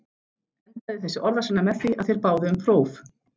Endaði þessi orðasenna með því, að þeir báðu próf.